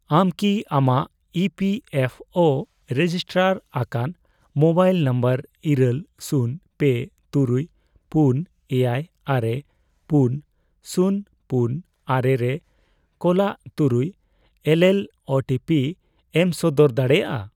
ᱟᱢ ᱠᱤ ᱟᱢᱟᱜ E P F O register ᱟᱠᱟᱱ ᱢᱳᱵᱟᱭᱤᱞ ᱱᱟᱢᱵᱟᱨ ᱤᱨᱟᱹᱞ, ᱥᱩᱱ, ᱯᱮ, ᱛᱩᱨᱩᱭ ,ᱯᱩᱱ, ᱮᱭᱟᱭ, ᱟᱨᱮ, ᱯᱩᱱ, ᱥᱩᱱ, ᱯᱩᱱ, ᱟᱨᱮ ᱨᱮ ᱠᱳᱞᱟᱜ ᱛᱩᱨᱩᱭ ᱮᱞᱮᱞ ᱳ ᱴᱤ ᱯᱤ ᱮᱢ ᱥᱚᱫᱚᱨ ᱫᱟᱲᱮᱭᱟᱜᱼᱟ ?